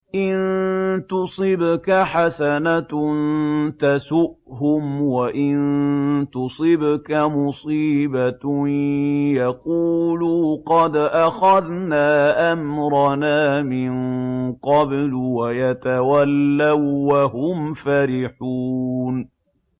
إِن تُصِبْكَ حَسَنَةٌ تَسُؤْهُمْ ۖ وَإِن تُصِبْكَ مُصِيبَةٌ يَقُولُوا قَدْ أَخَذْنَا أَمْرَنَا مِن قَبْلُ وَيَتَوَلَّوا وَّهُمْ فَرِحُونَ